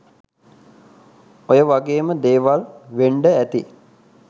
ඔය වගේම දේවල් වෙන්ඩ ඇති